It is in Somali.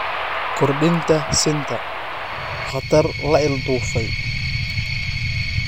Kordhinta sinta: Khatar la ilduufay?